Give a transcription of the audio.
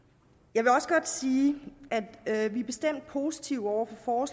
jeg vil også godt sige at vi bestemt er positive over for